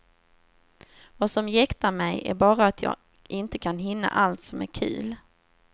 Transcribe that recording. Vad som jäktar mig är bara att jag inte kan hinna allt som är kul.